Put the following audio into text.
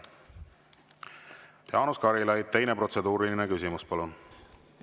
Jaanus Karilaid, teine protseduuriline küsimus, palun!